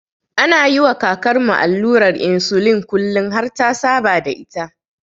Ana yiwa kakarmu allurar insulin kullin har ta saba da ita.